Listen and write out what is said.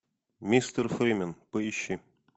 мистер фримен поищи